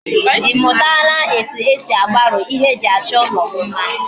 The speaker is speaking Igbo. Imutala etu esi agbaro ihe eji acho ulo mma?